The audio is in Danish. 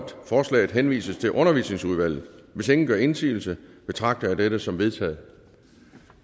forslaget henvises til undervisningsudvalget hvis ingen gør indsigelse betragter jeg det som vedtaget